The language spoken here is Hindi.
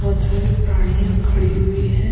बहुत सारे प्राणियां खड़ी हुई है।